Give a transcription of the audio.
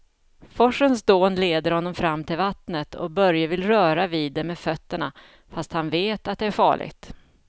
Forsens dån leder honom fram till vattnet och Börje vill röra vid det med fötterna, fast han vet att det är farligt.